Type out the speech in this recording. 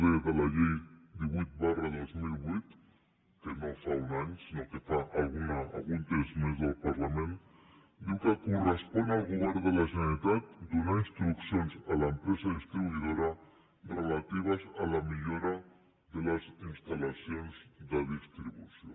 d de la llei divuit dos mil vuit any sinó que té algun temps mésque correspon al govern de la generalitat donar instruccions a l’empresa distribuïdora relatives a la millora de les instal·lacions de distribució